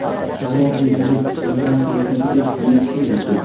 Shamol tezligi kuchsizdan o‘rtachaga yetishi mumkin.